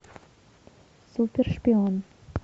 супер шпион